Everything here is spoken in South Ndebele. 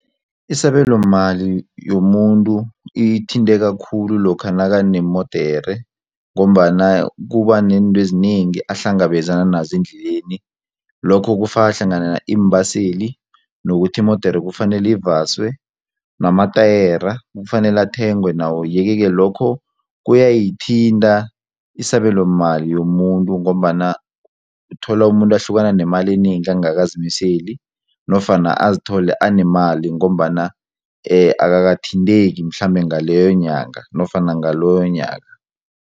Isabelomali yomuntu ithinteka khulu lokha nakanemodere ngombana kuba neentwezinengi ahlangabezana nazo endleleni lokho kufaka hlangana iimbaseli nokuthi imodere kufanele ivaswe namatayera kufanele athengwe nawo yeke-ke, lokho kuyayithinta isabelo mali yomuntu ngombana uthola umuntu ahlukana nemali enengi angakazimiseli nofana azithole anemali ngombana akakathinteki mhlambe ngaleyonyanga nofana ngaloyonyaka.